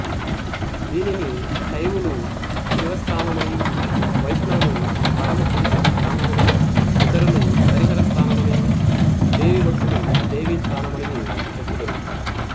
దీనిని శైవులు శివస్థానమనియు వైష్ణవులు పరమ పురుష స్థానమనియు ఇతరులు హరిహర స్థానమనియు దేవీభక్తులు దేవీస్థానమనియు చెప్పుదురు